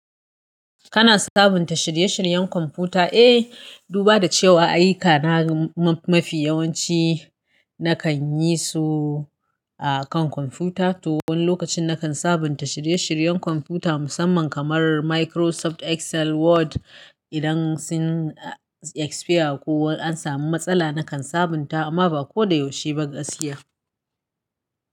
Kana sabunta shirye-shiryen computer. Eh, duba da cewa ayyuka na mafi yawanci nakan yi su akan computer, to wani lokacin nakan sabunta shirye-shiryen computer musamman kamar Microsoft Excel, Word. Idan sun expire ko an samu matsala nakan sabunta amma ba ko da yaushe ba gaskiya.